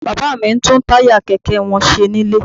Bàbá mi ń tún táyà kẹ̀kẹ́ wọn ṣe nílé